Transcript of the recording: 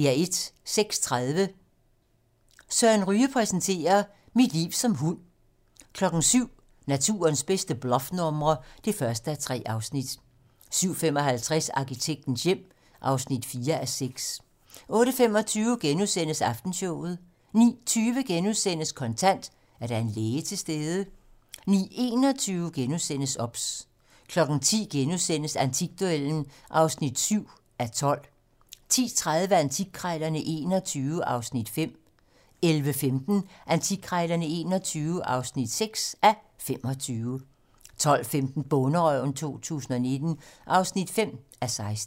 06:30: Søren Ryge præsenterer: "Mit liv som hund" 07:00: Naturens bedste bluffnumre (1:3) 07:55: Arkitektens hjem (4:6) 08:25: Aftenshowet * 09:20: Kontant: Er der en læge til stede? * 09:21: OBS * 10:00: Antikduellen (7:12)* 10:30: Antikkrejlerne XXI (5:25) 11:15: Antikkrejlerne XXI (6:25) 12:15: Bonderøven 2019 (5:16)